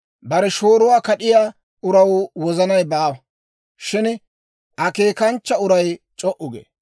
Bare shooruwaa kad'iyaa uraw wozanay baawa; shin akeekanchcha uray c'o"u gee.